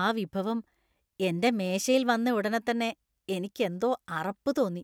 ആ വിഭവം എന്‍റെ മേശയിൽ വന്നയുടനെതന്നെ എനിക്ക് എന്തോ അറപ്പ് തോന്നി .